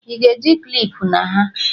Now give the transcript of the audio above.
Ị ga-eji klipụ na ha!